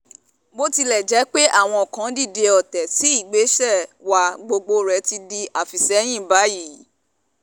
bó tilẹ̀ jẹ́ pé àwọn kan dìde ọ̀tẹ̀ sí ìgbésẹ̀ wa gbogbo rẹ̀ ti di àfisẹ́yìn báyìí